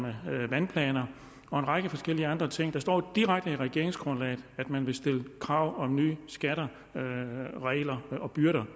vandplaner og en række forskellige andre ting der står direkte i regeringsgrundlaget at man vil stille krav om nye skatter regler og byrder